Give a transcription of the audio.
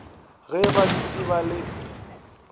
ge ba dutše ba le